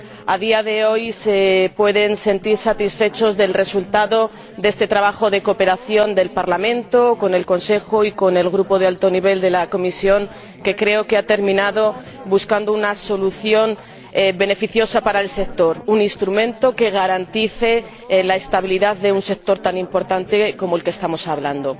a día de hoy se pueden sentir satisfechos del resultado de este trabajo de cooperación del Parlamento con el Consejo y con el Grupo de alto nivel de la Comisión, que creo que ha terminado buscando una solución beneficiosa para el sector, un instrumento que garantice la estabilidad de un sector tan importante como este del que estamos hablando.